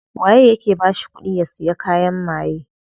Waye yake bashi kudi ya siya kayan maye?